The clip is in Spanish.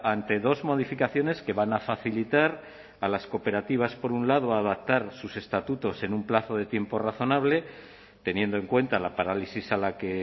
ante dos modificaciones que van a facilitar a las cooperativas por un lado a adaptar sus estatutos en un plazo de tiempo razonable teniendo en cuenta la parálisis a la que